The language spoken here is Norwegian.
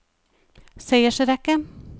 seiersrekke